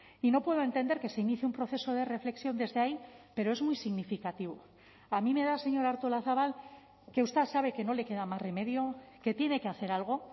y no puedo entender que se inicie un proceso de reflexión desde ahí pero es muy significativo a mí me da señora artolazabal que usted sabe que no le queda más remedio que tiene que hacer algo